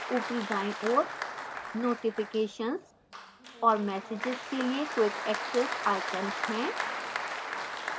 ऊपरी दाईं ओर notificationsऔर messages के लिए quick access icons हैं